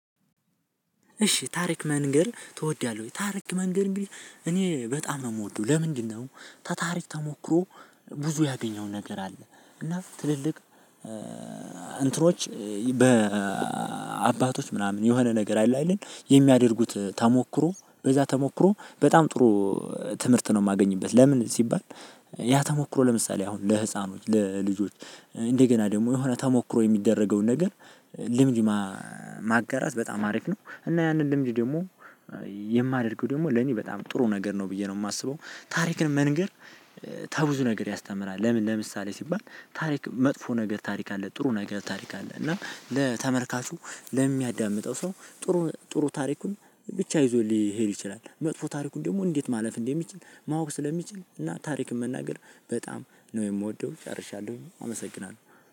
እሺ ታሪክ መንገር ትወዳለህ ወይ? ታሪክ መንገር እንግዲህ እኔ በጣም ነው የምወደው። ለምንድነው? ተታሪክ ተሞክሮ ብዙ ያገኘው ነገር አለ። እና ትልልቅ እንትኖች በአባቶች ምናምን የሆነ ነገር አለ አይደል የሚያደርጉት ተሞክሮ በዛ ተሞክሮ በጣም ጥሩ ትምህርት ነው የማገኝበት። ለምን ሲባል ያ ተሞክሮ ለምሳሌ አሁን ለህፃኖች ለልጆች እንደገና ደግሞ የሆነ ተሞክሮ የሚደረገውን ነገር ልምድ ማጋራት በጣም አሪፍ ነው እና ያንን ልምድ ደግሞ የማደርገው ደግሞ ለኔ በጣም ጥሩ ነገር ነው ብዬ ነው የማስበው። ታሪክን መንገር ተብዙ ነገር ያስተምራል። ለምን ለምሳሌ ሲባል ታሪክ መጥፎ ነገር ታሪክ አለ፣ ጥሩ ነገር ታሪክ አለ፣ እና ለተመልካቹ ለሚያዳምጠው ሰው ጥሩ ጥሩ ታሪኩን ብቻ ይዞ ሊሄድ ይችላል። መጥፎ ታሪኩን ደግሞ እንዴት ማለፍ እንደሚችል ማወቅ ስለሚችል እና ታሪክን መናገር በጣም ነው የምወደው ጨርሻለሁኝ። አመሰግናለሁ።